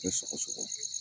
Te sɔgɔ sɔgɔ